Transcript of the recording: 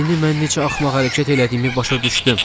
İndi mən necə axmaq hərəkət elədiyimi başa düşdüm.